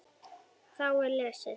Þá er lesið